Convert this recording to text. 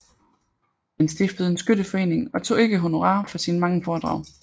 Han stiftede en skytteforening og tog ikke honorar for sine mange foredrag